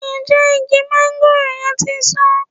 Ǹjẹ́ igi máńgòrò yẹn ti ń so?